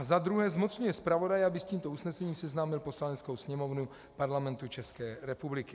A za druhé zmocňuje zpravodaje, aby s tímto usnesením seznámil Poslaneckou sněmovnu Parlamentu České republiky.